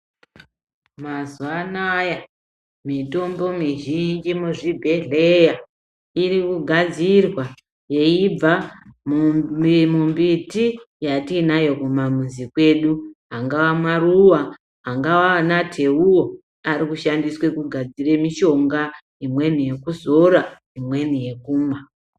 Mazuva anaya mitombo mizhinji muzvibhedhleya irikugadzirwa yeibva mumbiti yatiinayo kumamizi kwedu. Angaa maruva, angaa anateuwo arikushandiswe kugadzire mishonga, imweni yekuzora imweni yekumwa.